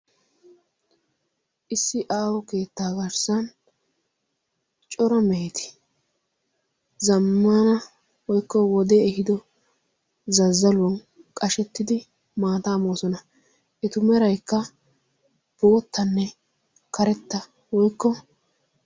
Issi aaho keettaa garssan cora meeti zammana woikko wode ehido zazzaluwan qashettidi maataa moosona etu meraikka boottanne karetta woykko